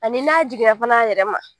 Ani n'a jiginna fana a yɛrɛ ma.